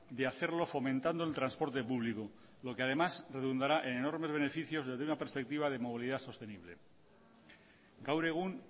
de hacerlo fomentando el transporte público lo que además redundará en enormes beneficios desde una perspectiva de movilidad sostenible gaur egun